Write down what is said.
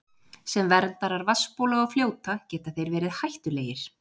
Sem verndarar vatnsbóla og fljóta geta þeir verið hættulegir.